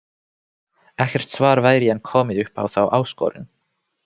Ekkert svar væri enn komið upp á þá áskorun.